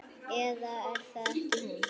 Eða er það ekki hún?